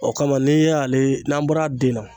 O kama n'i y'ale n'an bɔra den na.